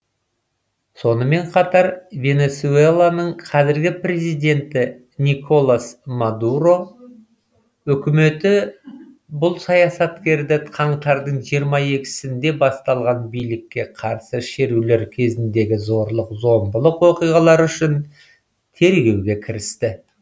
сонымен қатар венесуэланың қазіргі президенті николас мадуро үкіметі бұл саясаткерді қаңтардың жиырма екісінде басталған билікке қарсы шерулер кезіндегі зорлық зомбылық оқиғалары үшін тергеуге кірісті